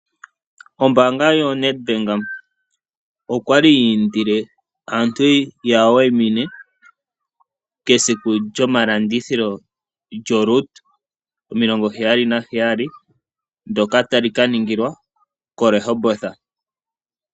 Ombaanga yoNedbank okwali yi indile aantu ye ya wayimine kesiku lyomalandithilo lyoRoot 77 ndyoka ta li ka ningilwa koRehoboth.